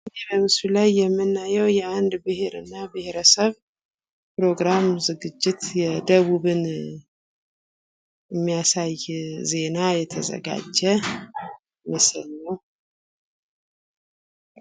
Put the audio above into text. ይህ በምስሉ ላይ የምናየው የአንድ ብሄርና ብሄረስብ ፕሮግራም ዝግጂት የደቡብን የሚያሳይ ዜና የተዘጋጀ ምስል ነው።